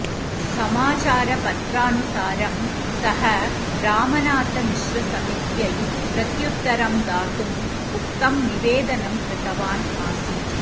समाचारपत्रानुसारं सः रामनाथमिश्रसमित्यै प्रत्युत्तरं दातुम् उक्तं निवेदनं कृतवान् आसीत्